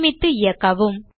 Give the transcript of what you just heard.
சேமித்து இயக்கவும்